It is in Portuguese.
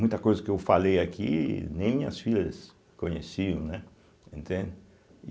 Muita coisa que eu falei aqui, nem minhas filhas conheciam, né, entende. e